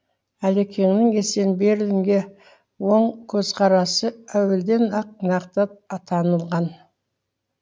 әлекеңнің есенберлинге оң көзқарасы әуелден ақ нақты атанылған